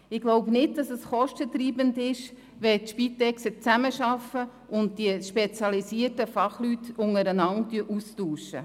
Ich denke nicht, dass es kostentreibend ist, wenn die Spitex-Organisationen zusammenarbeiten und die spezialisierten Fachleute sich untereinander austauschen.